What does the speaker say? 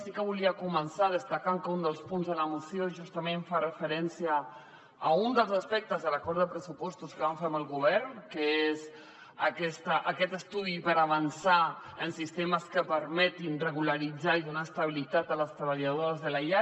sí que volia començar destacant que un dels punts de la moció justament fa referència a un dels aspectes de l’acord de pressupostos que vam fer amb el govern que és aquest estudi per avançar en sistemes que permetin regularitzar i donar estabilitat a les treballadores de la llar